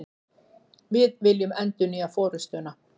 Við viljum endurnýja forustuna